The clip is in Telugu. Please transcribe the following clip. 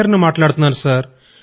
శ్రీహరి ని మాట్లాడుతున్నాను